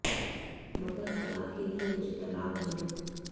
मगर खुदा के लिए मुझे तलाक न दो